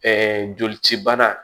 Ɛɛ joli cibana